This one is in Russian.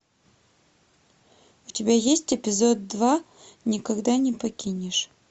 у тебя есть эпизод два никогда не покинешь